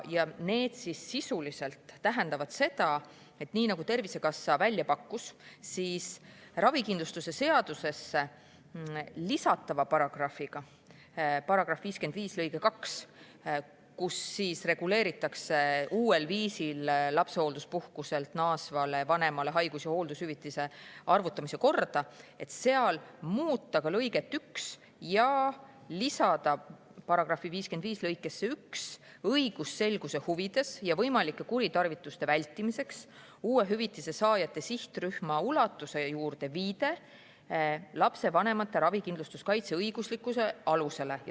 Need tähendavad sisuliselt seda, et nii nagu Tervisekassa välja pakkus, tuleks koos ravikindlustuse seadusesse lisatava paragrahviga –§ 55 lõige 2, millega reguleeritakse uuel viisil lapsehoolduspuhkuselt naasvale vanemale haigus- ja hooldushüvitise arvutamise korda – muuta ka lõiget 1 ja lisada § 55 lõikesse 1 õigusselguse huvides ja võimalike kuritarvituste vältimiseks uue hüvitise saajate sihtrühma ulatuse juurde viide lapsevanemate ravikindlustuskaitse õiguslikule alusele.